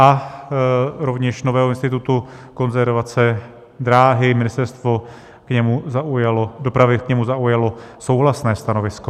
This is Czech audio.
A rovněž nového institutu konzervace dráhy, Ministerstvo dopravy k němu zaujalo souhlasné stanovisko.